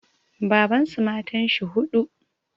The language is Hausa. Babansu matanshi huɗu